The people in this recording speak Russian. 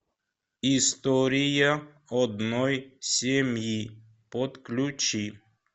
история одной семьи подключи